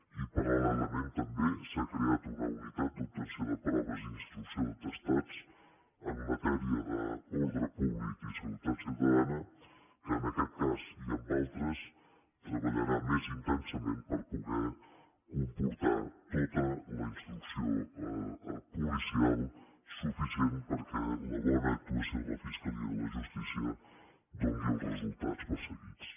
i paral·lelament també s’ha creat una unitat d’obtenció de proves i d’instrucció d’atestats en matèria d’ordre públic i seguretat ciutadana que en aquest cas i en d’altres treballarà més intensament per poder comportar tota la instrucció policial suficient perquè la bona actuació de la fiscalia i de la justícia doni els resultats perseguits